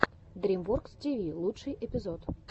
дрим воркс ти ви лучший эпизод